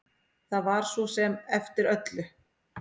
Það var svo sem eftir öllu.